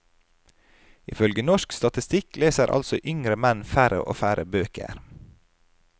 Ifølge norsk statistikk leser altså yngre menn færre og færre bøker.